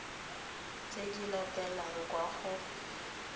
tse di latelang kwa go